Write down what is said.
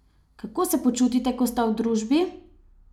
Kako se počutite, ko sta v družbi?